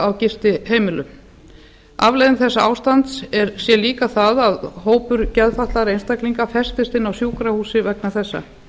á gistiheimilum afleiðing þessa ástands sé líka það að hópur geðfatlaðra einstaklinga festist inni á sjúkrahúsi vegna þessa